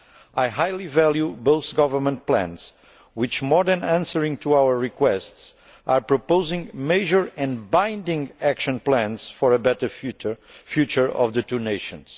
I highly value both government plans which, more than answering our requests, are proposing major and binding action plans for a better future for the two nations.